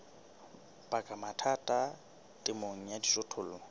baka mathata temong ya dijothollo